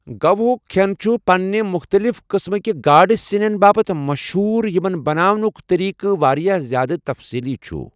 گوہُک کھِٮ۪ن چھُ پنِنہِ مُختلِف قٕسمٕک گاڈٕ سِنیٛن باپتھ مشہوٗر یِمن بناونُکھ طریقہٕ واریٛاہ زِیٛادٕ تفصیٖلی چھُ۔